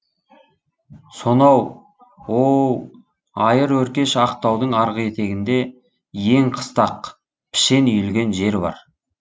сонау оу айыр өркеш ақ таудың арғы етегінде иен қыстақ пішен үйілген жер бар